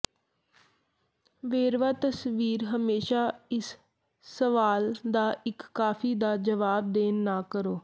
ਵੇਰਵਾ ਤਸਵੀਰ ਹਮੇਸ਼ਾ ਇਸ ਸਵਾਲ ਦਾ ਇੱਕ ਕਾਫੀ ਦਾ ਜਵਾਬ ਦੇਣ ਨਾ ਕਰੋ